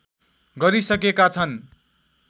गरिसकेका छन्